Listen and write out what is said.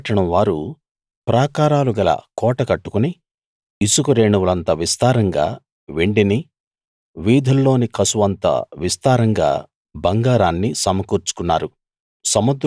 తూరు పట్టణం వారు ప్రాకారాలు గల కోట కట్టుకుని ఇసుక రేణువులంత విస్తారంగా వెండిని వీధుల్లోని కసువంత విస్తారంగా బంగారాన్ని సమకూర్చుకున్నారు